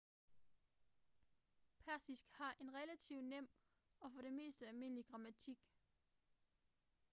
persisk har en relativt nem og for det meste almindelig grammatik